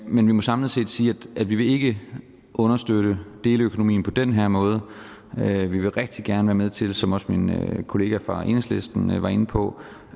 men vi må samlet set sige at vi ikke vil understøtte deleøkonomien på den her måde men vi vil rigtig gerne være med til som også min kollega fra enhedslisten var inde på